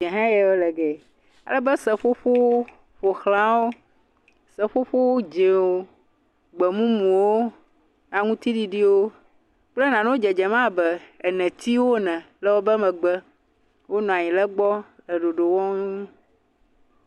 Ɖe ha wo le gea ale be seƒoƒo ƒo xla wo seƒoƒo dzĩwo gbemumuwo aŋtiɖiɖiwo nane dzedzem abe netiwo ene le wobe megbe wonɔ anyi ɖe gbɔ le ɖoɖo wɔm